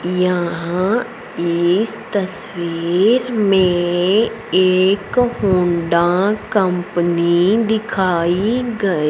यहां इस तस्वीर मे एक होंडा कंपनी दिखाई ग--